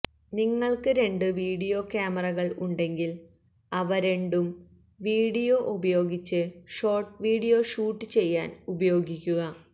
നിങ്ങൾക്ക് രണ്ടു വീഡിയോ കാമറകൾ ഉണ്ടെങ്കിൽ അവ രണ്ടും വീഡിയോ ഉപയോഗിച്ച് ഷോർട്ട് വീഡിയോ ഷൂട്ട് ചെയ്യാൻ ഉപയോഗിക്കുക